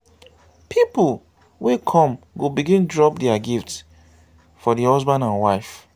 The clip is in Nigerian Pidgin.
pipol wey kom go begin drop dia gifts for di husband and wife